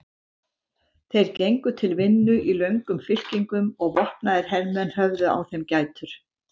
Þeir gengu til vinnu í löngum fylkingum og vopnaðir hermenn höfðu á þeim gætur.